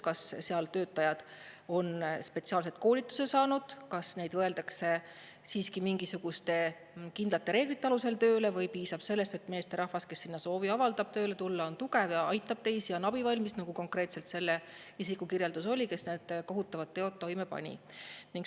Kas seal töötajad on spetsiaalse koolituse saanud, kas neid võetakse siiski mingisuguste kindlate reeglite alusel tööle või piisab sellest, et meesterahvas, kes avaldab soovi sinna tööle tulla, on tugev ja aitab teisi, on abivalmis, nagu konkreetselt selle isiku kirjeldus oli, kes kohutavad teod toime pani?